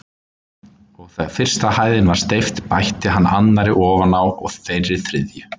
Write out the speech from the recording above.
Og þegar fyrsta hæðin var steypt bætti hann annarri ofan á og þeirri þriðju.